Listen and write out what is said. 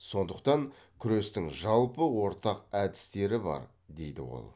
сондықтан күрестің жалпы ортақ әдістері бар дейді ол